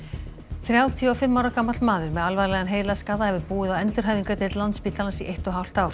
þrjátíu og fimm ára gamall maður með alvarlegan heilaskaða hefur búið á endurhæfingardeild Landspítalans í eitt og hálft ár